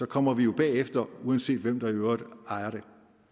kommer vi jo bagefter uanset hvem der i øvrigt ejer det